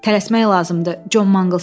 Tələsmək lazımdır, Con Mangls dedi.